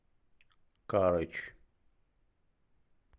карыч